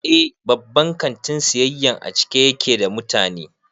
Eh, babban kantin siyayyan a cike ya ke da mutane